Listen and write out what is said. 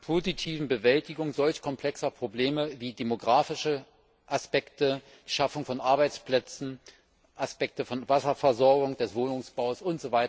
positiven Bewältigung solch komplexer Probleme wie demografische Aspekte, Schaffung von Arbeitsplätzen, Aspekte von Wasserversorgung, des Wohnungsbaus usw.?